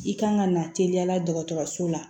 I kan ka na teliyala dɔgɔtɔrɔso la